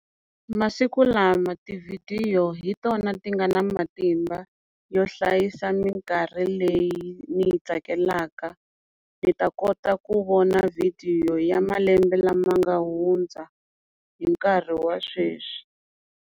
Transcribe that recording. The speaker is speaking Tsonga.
Masiku lama tivhidiyo hi tona ti nga na matimba yo hlayisa minkarhi leyi ni yi tsakelaka ni ta kota ku vona vhidiyo ya malembe lama nga hundza hi nkarhi wa sweswi.